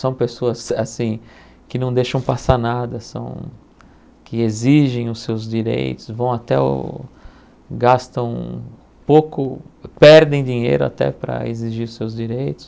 São pessoas assim que não deixam passar nada, são que exigem os seus direitos, vão até o, gastam pouco, perdem dinheiro até para exigir os seus direitos.